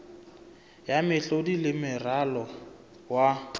ya mehlodi le moralo wa